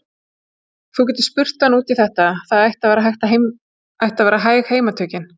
Þú getur spurt hann út í þetta, það ættu að vera hæg heimatökin.